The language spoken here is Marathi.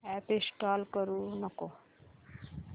अॅप इंस्टॉल करू नको